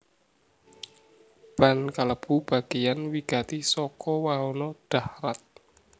Ban kalebu bagéyan wigati saka wahana dahrat